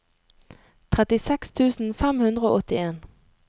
trettiseks tusen fem hundre og åttien